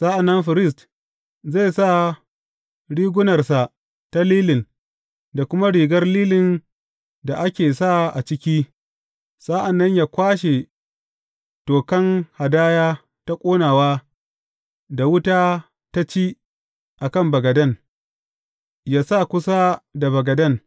Sa’an nan firist zai sa rigunarsa ta lilin da kuma rigar lilin da ake sa a ciki, sa’an nan yă kwashe tokan hadaya ta ƙonawa da wuta da ta ci a kan bagaden, yă sa kusa da bagaden.